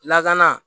Lakana